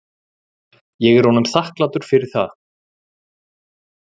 Ég er honum þakklátur fyrir það.